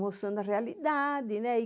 Mostrando a realidade, né?